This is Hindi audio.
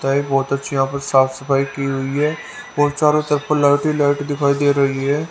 ता है बहोत अच्छी यहां पर साफ सफाई की हुई है और चारों तरफ लाइट ही लाइट दिखाई दे रही है।